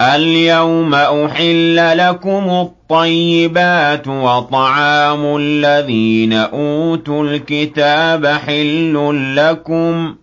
الْيَوْمَ أُحِلَّ لَكُمُ الطَّيِّبَاتُ ۖ وَطَعَامُ الَّذِينَ أُوتُوا الْكِتَابَ حِلٌّ لَّكُمْ